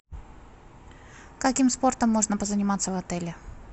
каким спортом можно позаниматься в отеле